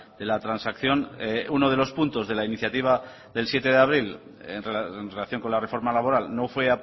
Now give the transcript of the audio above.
de la transacción uno de los puntos de la iniciativa del siete de abril en relación con la reforma laboral no fue